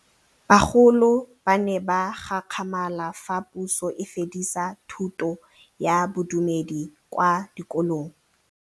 Bagolo ba ne ba gakgamala fa Pusô e fedisa thutô ya Bodumedi kwa dikolong.